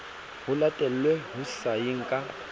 ho latelwe ho sayeng ka